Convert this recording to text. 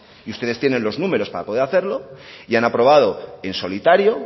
y ustedes tienen los números para poder hacerlo y han aprobado en solitario